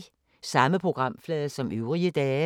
Samme programflade som øvrige dage